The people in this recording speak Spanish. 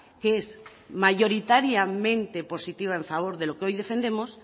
que es mayoritariamente positiva en favor de lo que hoy defendemos